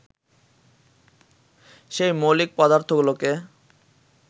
সেই মৌলিক পদার্থগুলোকে